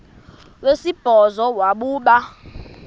wesibhozo wabhu bha